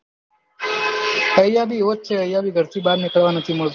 ઐયા ભી એવું જ છે આયા ભી ઘર થી બાર નિકલવા નથી મળતું